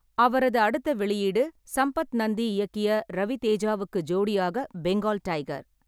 அவரது அடுத்த வெளியீடு சம்பத் நந்தி இயக்கிய ரவி தேஜாவுக்கு ஜோடியாக பெங்கால் டைகர்.